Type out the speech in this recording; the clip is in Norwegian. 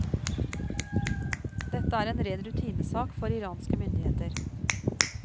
Dette er en ren rutinesak for iranske myndigheter.